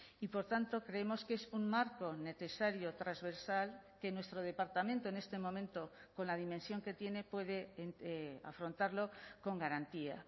y por tanto creemos que es un marco necesario transversal que nuestro departamento en este momento con la dimensión que tiene puede afrontarlo con garantía